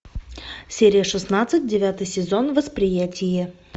серия шестнадцать девятый сезон восприятие